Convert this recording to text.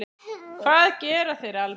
Hvað gera þeir almennt?